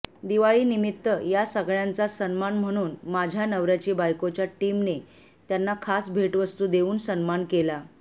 दिवाळीनिमित्त या सगळ्यांचा सन्मान म्हणून माझ्या नवऱ्याची बायकोच्या टीमने त्यांना खास भेटवस्तू देऊन सन्मान केला